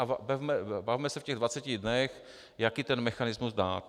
A bavme se v těch 20 dnech, jaký ten mechanismus dát.